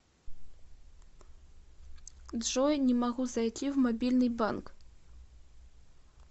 джой не могу зайти в мобильный банк